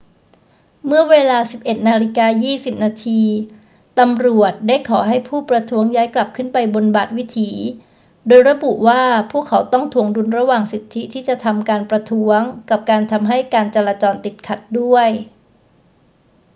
เมื่อเวลา 11.20 น ตำรวจได้ขอให้ผู้ประท้วงย้ายกลับขึ้นไปบนบาทวิถี โดยระบุว่าพวกเขาต้องถ่วงดุลระหว่างสิทธิที่จะทำการประท้วงกับการทำให้การจราจรติดขัดด้วย